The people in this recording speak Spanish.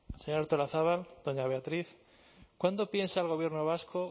señora artolazabal doña beatriz cuándo piensa el gobierno vasco